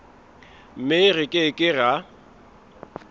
mme re ke ke ra